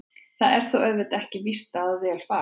Það er þó auðvitað ekki víst að vel fari.